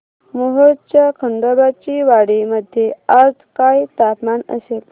मोहोळच्या खंडोबाची वाडी मध्ये आज काय तापमान असेल